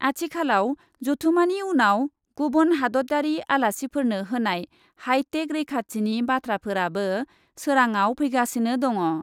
आथिखालाव जथुमानि उनाव गुबुन हादतयारि आलासिफोरनो होनाय हाइटेक रैखाथिनि बाथ्राफोराबो सोराझव फैगासिनो दङ ।